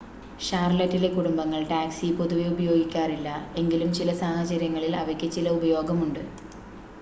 ഷാർലറ്റിലെ കുടുംബങ്ങൾ ടാക്‌സികൾ പൊതുവെ ഉപയോഗിക്കാറില്ല എങ്കിലും ചില സാഹചര്യങ്ങളിൽ അവയ്ക്ക് ചില ഉപയോഗമുണ്ട്